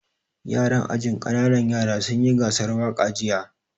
Yaran ajin ƙananan yara sun yi gasar waƙa jiya